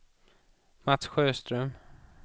Mats Sjöström